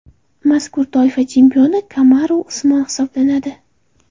Mazkur toifa chempioni Kamaru Usmon hisoblanadi.